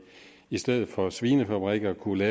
i stedet for svinefabrikker kunne